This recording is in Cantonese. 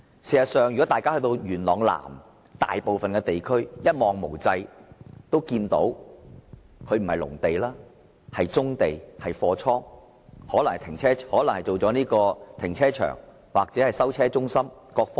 事實上，如果大家到元朗南便會看到，大部分地區一望無際，看到的都不是農地，而是棕地、貨倉，甚至是停車場或收車中心。